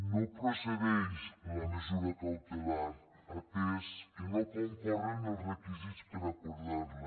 no procedeix la mesura cautelar atès que no hi concorren els requisits per acordar la